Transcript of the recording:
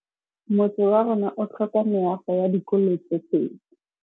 Motse warona o tlhoka meago ya dikolô tse pedi.